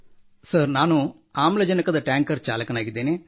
sir ನಾನು ಆಮ್ಲಜನಕದ tanker ಚಾಲಕನಾಗಿದ್ದೇನೆ